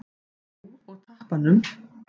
Jú, og tappanum.